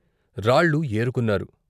రాళ్ళు ఏరుకున్నారు.